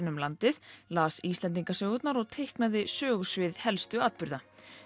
um landið las Íslendingasögurnar og teiknaði sögusvið helstu atburða